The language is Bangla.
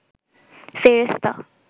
ফেরেশতা